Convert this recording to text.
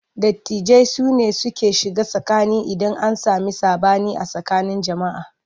Dattijai sune suke shiga tsakani idan an sami saɓani a tsakanin jama'a.